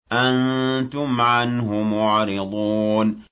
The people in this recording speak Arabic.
أَنتُمْ عَنْهُ مُعْرِضُونَ